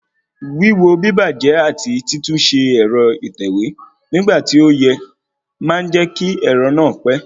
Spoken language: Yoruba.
Wíwo bíbàjẹ́ àti títúnṣe ẹ̀rọ ìtẹ̀wé nígbà tí ó yẹ máa jẹ́ kí ẹ̀rọ náà pé